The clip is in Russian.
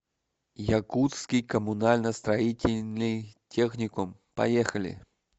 якутский коммунально строительный техникум поехали